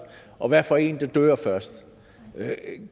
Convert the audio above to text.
og hvad for en der dør først